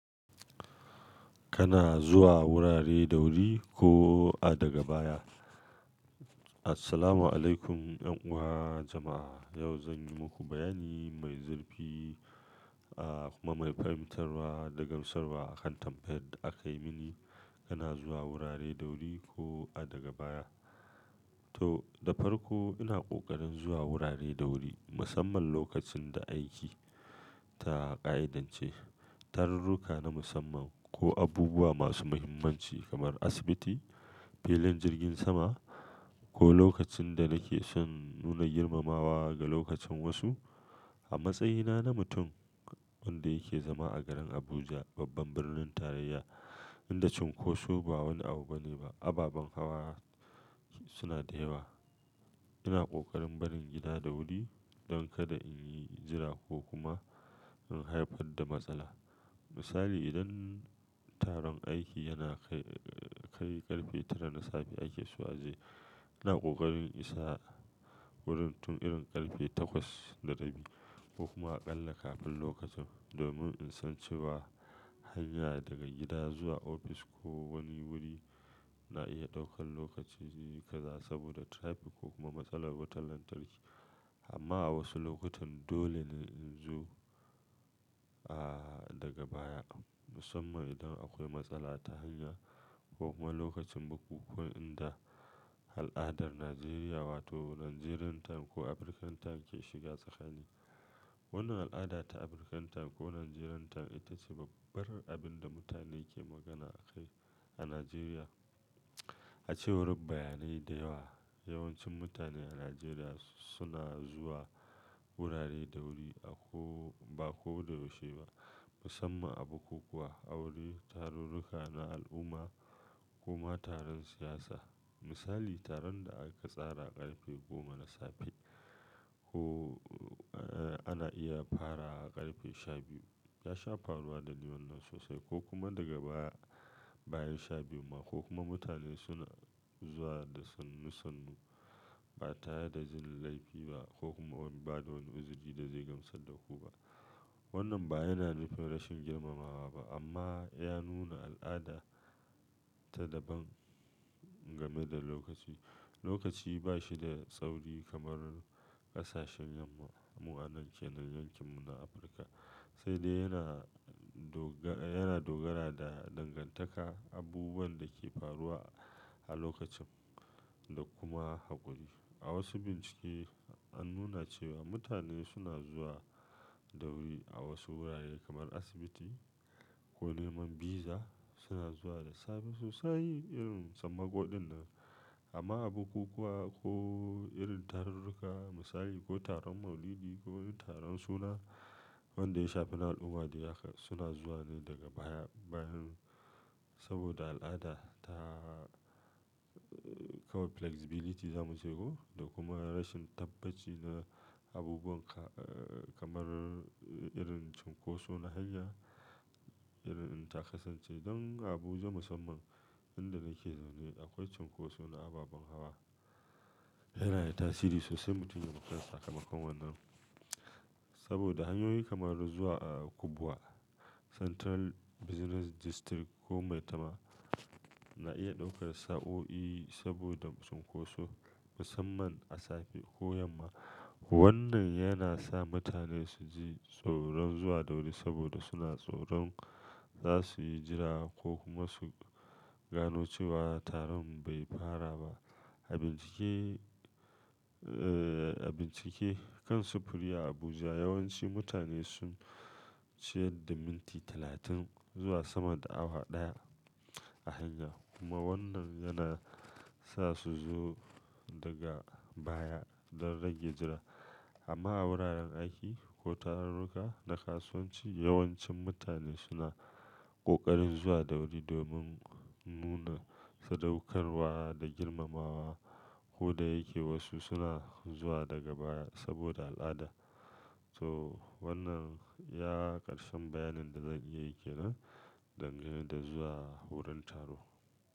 Kana zuwa wurare da wuri ko a daga baya? Assalamualaikum yan uwa jama'a. Yau zan yi muku bayani mai zurfi, ah kuma mai fahimtarra da gamsarwa akan tambayan da aka yi mini. Kana zuwa wurare da wuri ko a daga baya? To, da farko ina ƙoƙarin zuwa wurare da wuri, musamman lokacin da aiki ta ƙa'idance, tarurruka na musamman ko abubuwa masu muhimmanci kamar asibiti, filin jirgin sama ko lokacin da nake shan nuna girmamawa ga lokacin wasu. A matsayina na mutum wanda yake zama a garin Abuja, babban birnin tarayya, inda cunkoso ba wani abu bane ba, ababen hawa suna da yawa. Ina ƙoƙarin barin gida da wuri don kada in yi jira ko kuma in haifar da matsala. Misali, idan taron aiki yana kai ƙarfe tara na safe ake zuwa jiya, ina ƙoƙarin isa wurin tun irin ƙarfe takwas da rabi ko kuma a ƙalla kafin lokacin domin in san cewa hanya daga gida zuwa ofis ko wani wuri na iya ɗaukar lokaci kaza saboda traffic ko kuma matsalar wutar lantarki. Amma a wasu lokutan dole ne in zo, ah daga baya. Musamman idan akwai matsala ta hanya ko kuma lokacin bukukuwa inda al'adar Najeriya wato Nigerian time ko African time ke shiga tsakani. Wannan al'ada ta African time ko Nigerian time ita ce babbar abin da mutane ke magana a kai a Najeriya. A cewar bayanai da yawa, yawancin mutane a Najeriya suna zuwa wurare da wuri a ko ba ko da wucewa ba, musamman a bukukuwa, aure, tarurruka na al'umma kuma taron siyasa. Misali, taron da aka tsara ƙarfe goma na safe ko ana iya fara ƙarfe sha biyu. Ya sha faruwa da liman nan sosai ko kuma daga baya bayan sha biyu ma ko kuma mutane suna zuwa da sannu sannu ba tare da jin laifi ba ko kuma ba da wani uzuri da zai gamsar da ku ba. Wannan ba yana nufin rashin girmamawa ba amma ya nuna al'ada ta daban game da lokaci. Lokaci ba shi da tsauri kamar ƙasashen mu'addanin yankin mu na Afirka, sai dai yana doga yana dogara da dangantaka, abubuwan da ke faruwa a lokacin da kuma haƙuri. A wasu bincike an nuna cewa mutane suna zuwa da wuri a wasu wurare kamar asibiti ko neman visa suna zuwa da safe sosai irin sammako din nan. Amma a bukukuwa ko irin tarurruka misali ko taron maulidi ko taron suna wanda ya shafi al'umma suna zuwa ne daga baya bayan saboda al'ada ta kawar flexibility zamu ce ko da kuma rashin tabbaci na abubuwan kamar irin cinkusu na hanya. Irin ta kasance don Abuja musamman inda nake zaune akwai cinkusu na ababen hawa. Yana da tasiri sosai mutum ya makara sakamakon wannan. Saboda hanyoyi kamar zuwa a Kubwa, Central Business District ko maitama na iya ɗaukar sa'o'i saboda cunkoso musamman a safe ko yamma. Wannan yana sa mutane su ji tsoron zuwa da wuri saboda suna tsoron za su yi jira ko kuma su gano cewa taron bai fara ba. A bincike, a bincike kan sufuri a Abuja yawanci mutane sun ciyar da minti talatin zuwa sama da awa ɗaya a hanya. Kuma wannan yana sa su zo daga baya don rage jira. Amma a wuraren aiki ko tarurruka na kasuwanci yawancin mutane suna ƙoƙarin zuwa da wuri domin nuna sadaukarwa da girmamawa. Ko da yake wasu suna zuwa daga baya saboda al'ada. To wannan ya ƙarshen bayanin da zan iya yi ke nan game da zuwa wurin taro.